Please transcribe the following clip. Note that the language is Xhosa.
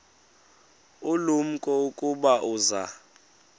ulumko ukuba uza